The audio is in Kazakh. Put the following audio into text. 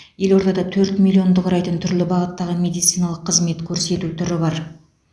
елордада төрт миллионды құрайтын түрлі бағыттағы медициналық қызмет көрсету түрі бар